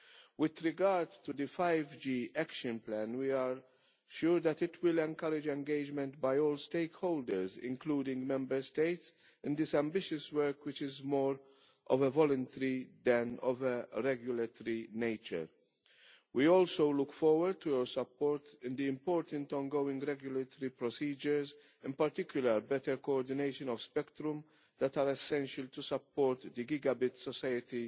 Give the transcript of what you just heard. With regard to the 5G Action Plan, we are sure that it will encourage engagement by all stakeholders, including the Member States, in this ambitious work, which is more of a voluntary nature than of a regulatory nature. We also look forward to your support in the important ongoing regulatory procedures in particular, concerning the better coordination of spectrum that are essential to support the gigabyte society